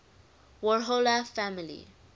warhola family